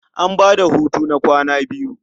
An ba da hutu na kwana biyu.